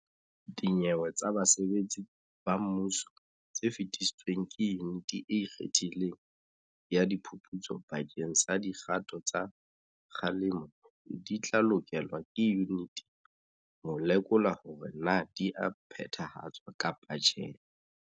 Dinyewe tsa basebetsi ba mmuso tse fetisitsweng ke Yuniti e Ikgethileng ya Di phuputso bakeng sa dikgato tsa kgalemo di tla lekolwa ke yuniti ho lekola hore na di a phethahatswa kapa tjhe.